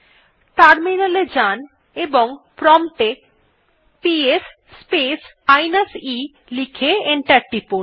terminal এ যান এবং প্রম্পট এ পিএস স্পেস মাইনাস e লিখে এন্টার টিপুন